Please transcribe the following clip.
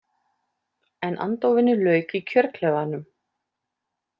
En andófinu lauk í kjörklefanum.